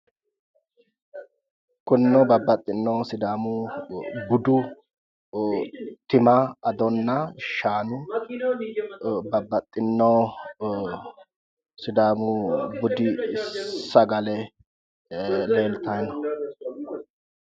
Kunino babbaxxinno sidaamu budu tima, adonna shaanu babbaxxinno sidaamu budi sagale leeltawo yaate.